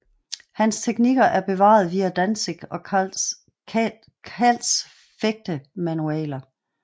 Hans teknikker er bevaret bevaret via Danzig og Kals fægtemanualer